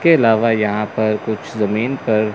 के अलावा यहां पर कुछ जमीन पर--